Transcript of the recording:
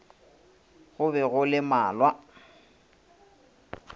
go be go le malwa